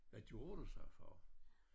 Hvad gjorde du sagde far